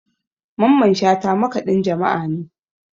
Mamman shata makaɗin jama'a ne